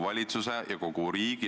Aitäh!